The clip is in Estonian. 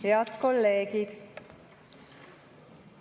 Head kolleegid!